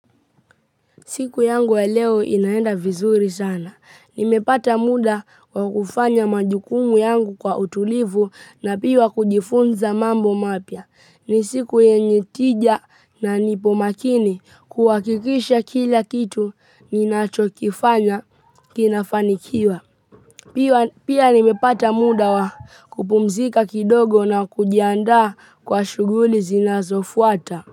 Siku yangu ya leo inaenda vizuri sana. Nimepata muda wa kufanya majukumu yangu kwa utulivu na pia kujifunza mambo mapya. Ni siku yenye tija na nipo makini kuhakikisha kila kitu ninacho kifanya kinafanikiwa. Pia nimepata muda wa kupumzika kidogo na kujianda kwa shughuli zinazo fuata.